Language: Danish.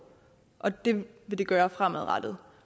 og det vil det gøre fremadrettet